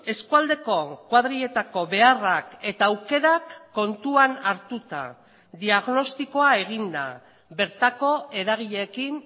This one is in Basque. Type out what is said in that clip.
eskualdeko kuadriletako beharrak eta aukerak kontuan hartuta diagnostikoa eginda bertako eragileekin